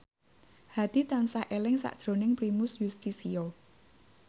Hadi tansah eling sakjroning Primus Yustisio